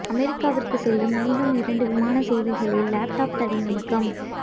அமெரிக்காவிற்குச் செல்லும் மேலும் இரண்டு விமான சேவைகளில் லேப்டாப் தடை நீக்கம்